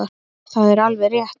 Það er alveg rétt.